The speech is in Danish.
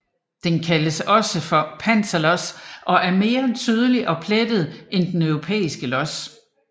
Den kaldes også panterlos og er mere tydeligt plettet end den europæiske los